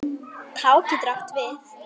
Tá getur átt við